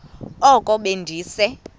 oko be ndise